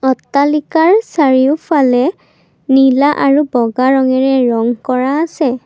অট্টালিকাৰ চাৰিওফালে নীলা আৰু বগা ৰঙেৰে ৰং কৰা আছে।